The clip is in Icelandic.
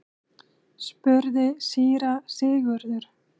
spurði síra Sigurður.